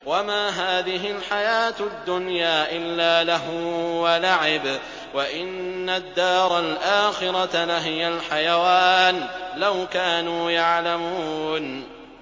وَمَا هَٰذِهِ الْحَيَاةُ الدُّنْيَا إِلَّا لَهْوٌ وَلَعِبٌ ۚ وَإِنَّ الدَّارَ الْآخِرَةَ لَهِيَ الْحَيَوَانُ ۚ لَوْ كَانُوا يَعْلَمُونَ